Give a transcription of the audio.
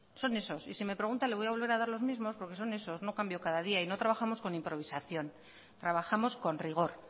son esos y si me pregunta le voy a volver a dar los mismos porque son esos no cambio cada día y no trabajamos con improvisación trabajamos con rigor